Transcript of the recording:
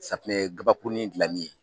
Safinɛ kabakuruni dilanni.